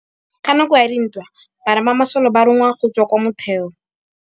Ka nakô ya dintwa banna ba masole ba rongwa go tswa kwa mothêô.